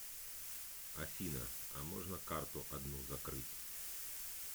афина а можно карту одну закрыть